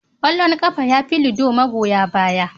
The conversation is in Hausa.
Kwallon kafa yafi lido magoya baya.